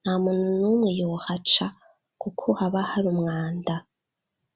nta muntu numwe yohaca kuko haba hari umwanda